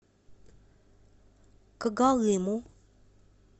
когалыму